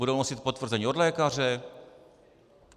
Budou nosit potvrzení od lékaře?